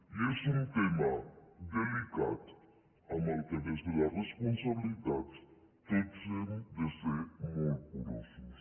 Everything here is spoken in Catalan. i és un tema delicat en què des de la responsabilitat tots hem de ser molt curosos